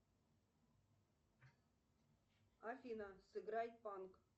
афина сыграй панк